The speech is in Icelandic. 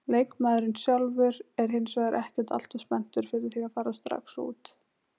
Leikmaðurinn sjálfur er hinsvegar ekkert alltof spenntur fyrir því að fara strax út.